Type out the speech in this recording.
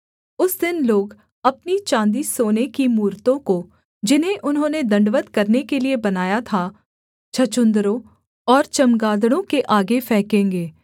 उस दिन लोग अपनी चाँदीसोने की मूरतों को जिन्हें उन्होंने दण्डवत् करने के लिये बनाया था छछून्दरों और चमगादड़ों के आगे फेकेंगे